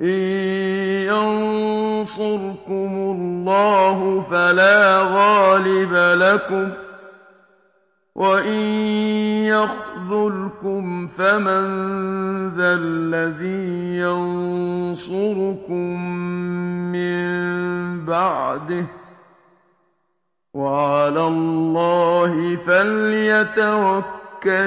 إِن يَنصُرْكُمُ اللَّهُ فَلَا غَالِبَ لَكُمْ ۖ وَإِن يَخْذُلْكُمْ فَمَن ذَا الَّذِي يَنصُرُكُم مِّن بَعْدِهِ ۗ وَعَلَى اللَّهِ فَلْيَتَوَكَّلِ